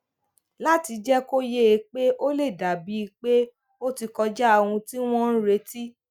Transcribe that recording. láti jé kó yé e pé ó lè dà bíi pé ó ti kọjá ohun tí wón ń retí